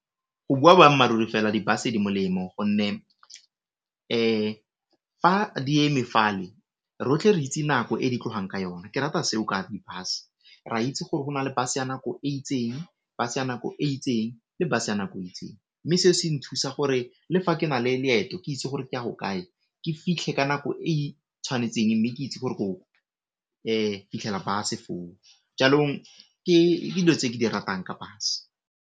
Go bua boammaaruri fela di bus di molemo gonne fa di eme fale rotlhe re itse nako e di tlogang ka yona, ke rata seo ka di bus re a itse gore go na le bus ya nako e itseng, bus ya nako e itseng, le bus ya nako e itseng mme seo se nthusa gore le fa ke na le leeto ke itse gore ke a go kae ke fitlhe ka nako e tshwanetseng mme ke itse gore ko fitlhela bus foo jaanong ke dilo tse ke di ratang ka bus.